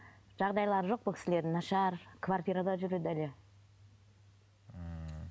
жағдайлары жоқ бұл кісілердің нашар квартирада жүреді әлі ммм